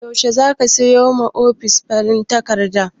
Yaushe zaka sayo ma ofis farin takarda?